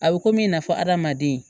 A bɛ komi na fɔ hadamaden